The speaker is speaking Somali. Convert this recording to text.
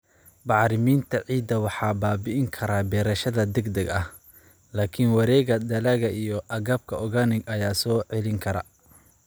Bacriminta ciidda waxaa baabi'in kara beerashada degdega ah, laakiin wareegga dalagga iyo agabka organic ayaa soo celin kara.